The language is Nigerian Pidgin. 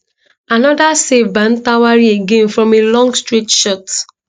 anoda save by ntwari again from a long straight shot